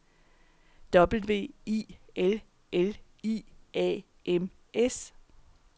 W I L L I A M S